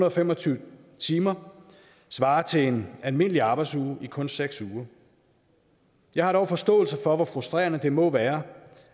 og fem og tyve timer svarer til en almindelig arbejdsuge i kun seks uger jeg har dog forståelse for hvor frustrerende det må være